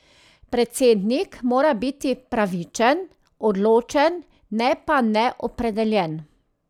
Predsednik mora biti pravičen, odločen, ne pa neopredeljen.